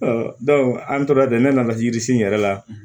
an tora ten ne nana yiri sun yɛrɛ la